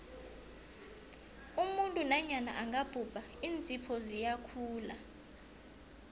umuntu nanyana angabhubha iinzipho ziyakhula